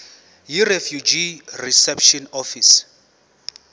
yirefugee reception office